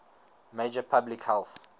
major public health